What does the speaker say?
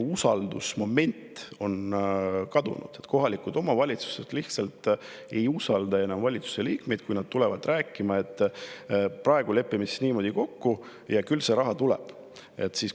Usaldusmoment on kadunud, kohalikud omavalitsused lihtsalt ei usalda enam valitsuse liikmeid, kui tullakse rääkima, et lepime praegu niimoodi kokku ja küll see raha tuleb.